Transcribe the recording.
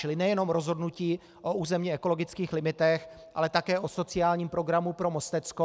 Čili nejenom rozhodnutí o územně ekologických limitech, ale také o sociálním programu pro Mostecko.